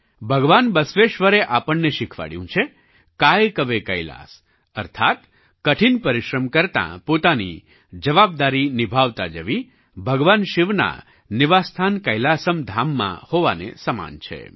ભગવાન બસવેશ્વરે આપણને શિખવાડ્યું છે कायकवे कैलास અર્થાત્ કઠિન પરિશ્રમ કરતા પોતાની જવાબદારી નિભાવતા જવી ભગવાન શિવના નિવાસસ્થાન કૈલાસમ ધામમાં હોવાને સમાન છે